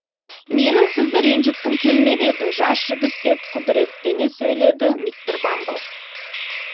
менің сізді ренжіткім келмеп еді жас жігіт деп құдыреттене сөйледі мистер бамбл